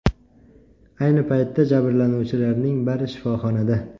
Ayni paytda jabrlanuvchilarning bari shifoxonada.